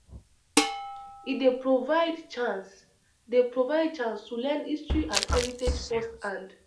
E dey provide chance dey provide chance to learn history and heritage firsthand.